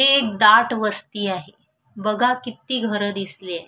हे एक दाट वस्ती आहे बघा किती घरं दिसलीय.